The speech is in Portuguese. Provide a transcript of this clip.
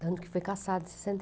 Tanto que foi cassado em sessenta